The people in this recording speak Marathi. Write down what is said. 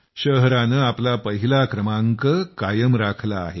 शहरानं आपलं पहिला क्रमांक कायम राखला आहे